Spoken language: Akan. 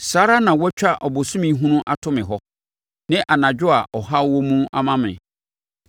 saa ara na wɔatwa abosome hunu ato me hɔ, ne anadwo a ɔhaw wɔ mu ama me.